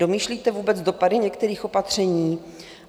Domýšlíte vůbec dopady některých opatření?